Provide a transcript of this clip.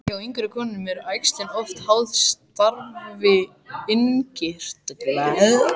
Hjá yngri konum eru æxlin oft háð starfi innkirtla.